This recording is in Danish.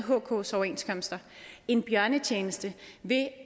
hks overenskomster en bjørnetjeneste ved